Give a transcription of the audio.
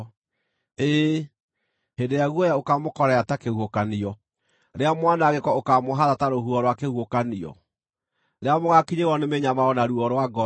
ĩĩ hĩndĩ ĩrĩa guoya ũkaamũkorerera ta kĩhuhũkanio, rĩrĩa mwanangĩko ũkaamũhaata ta rũhuho rwa kĩhuhũkanio, rĩrĩa mũgaakinyĩrĩrwo nĩ mĩnyamaro na ruo rwa ngoro.